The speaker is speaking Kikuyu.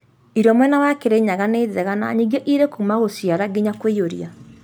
Irio mwena wa kĩrĩnyaga nĩ njega na nyingĩ irĩ kuuma gũciara nginya kũiyũria